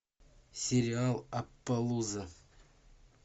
сериал аппалуза